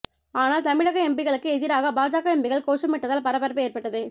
ஆனால் தமிழக எம்பிக்களுக்கு எதிராக பாஜக எம்பிக்கள் கோஷமிட்டதால் பரபரப்பு ஏற்பட்டது